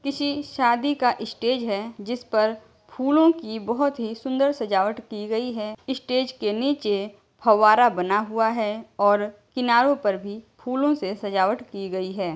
किसी शादी का स्टेज है जिस पर फूलों की बहुत ही सुंदर सजावट की गई है स्टेज के नीचे फव्वारा बना हुआ है और किनारों पर भी फूलों से सजावट की गई है।